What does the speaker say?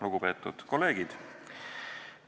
Lugupeetud kolleegid!